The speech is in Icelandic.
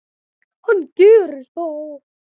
Hann gerir það.